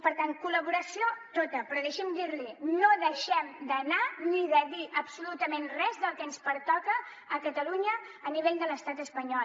per tant col·laboració tota però deixi’m dir li no deixem d’anar ni de dir absolutament res del que ens pertoca a catalunya a nivell de l’estat espanyol